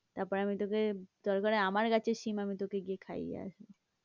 তারপরে আমি তোকে দরকার হলে আমার গাছের সিম আমি তোকে খাইয়ে আসবো।